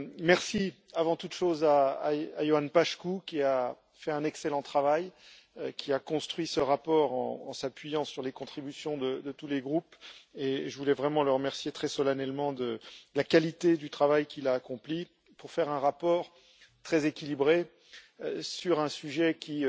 Merci avant toute chose à Ioan Paşcu qui a fait un excellent travail, qui a construit ce rapport en s'appuyant sur les contributions de tous les groupes, et je voulais vraiment le remercier très solennellement de la qualité du travail qu'il a accompli pour faire un rapport très équilibré sur un sujet qui